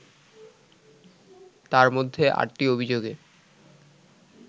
তার মধ্যে আটটি অভিযোগে